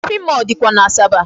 Shopping mall dịkwa n'Asaba.